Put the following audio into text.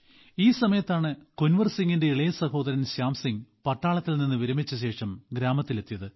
ഈ സമയത്താണ് കുൻവർ സിംഗിന്റെ ഇളയ സഹോദരൻ ശ്യാം സിംഗ് പട്ടാളത്തിൽ നിന്ന് വിരമിച്ചശേഷം ഗ്രാമത്തിലെത്തിയത്